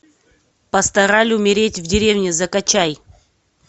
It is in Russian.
пастораль умереть в деревне закачай